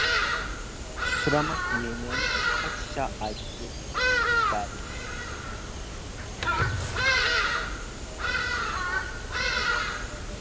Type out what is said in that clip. сұрамақ менен патша айт деп бәрін